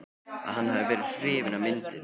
að hann hafi verið hrifinn af myndinni eða.